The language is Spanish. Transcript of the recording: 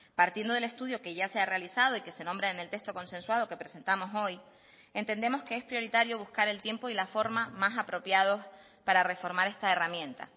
partiendo del estudio que ya se ha realizado y que se nombra en el texto consensuado que presentamos hoy entendemos que es prioritario buscar el tiempo y la forma más apropiados para reformar esta herramienta